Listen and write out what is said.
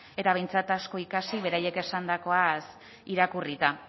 eta behintzat asko ikasi beraiek esandakoaz irakurrita